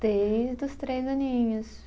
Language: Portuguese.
Desde os três aninhos.